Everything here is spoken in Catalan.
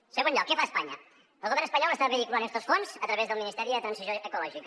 en segon lloc què fa espanya el govern espanyol està vehiculant estos fons a través del ministeri per a la transició ecològica